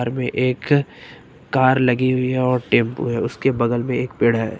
एक कार लगी हुई है और टेंपो है उसके बगल में एक पेड़ है।